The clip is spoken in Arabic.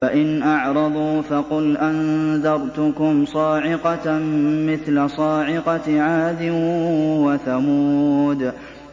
فَإِنْ أَعْرَضُوا فَقُلْ أَنذَرْتُكُمْ صَاعِقَةً مِّثْلَ صَاعِقَةِ عَادٍ وَثَمُودَ